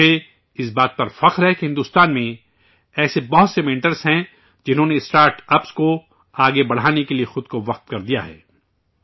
مجھے، اس بات کا فخر ہے کہ بھارت میں ایسے بہت سے مینٹرز ہیں جنہوں نے اسٹارٹاپس کو آگے بڑھانے کے لئے خود کو وقف کردیا ہے